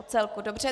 O celku, dobře.